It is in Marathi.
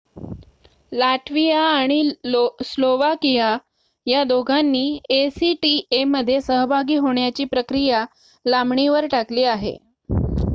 लात्विया आणि स्लोवाकिया दोघांनी acta मध्ये सहभागी होण्याची प्रक्रिया लांबणीवर टाकली आहे